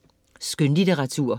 Skønlitteratur